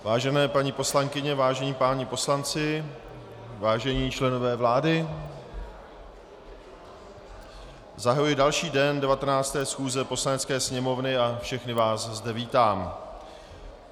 Vážené paní poslankyně, vážení páni poslanci, vážení členové vlády, zahajuji další den 19. schůze Poslanecké sněmovny a všechny vás zde vítám.